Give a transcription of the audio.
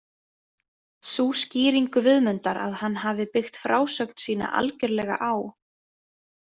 Sú skýring Guðmundar að hann hafi byggt frásögn sína algjörlega á.